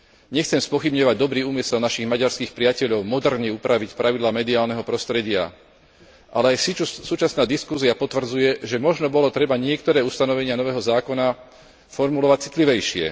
Nechcem spochybňovať dobrý úmysel našich maďarských priateľov moderne upraviť pravidlá mediálneho prostredia, ale súčasná diskusia potvrdzuje, že možno bolo treba niektoré ustanovenia nového zákona formulovať citlivejšie.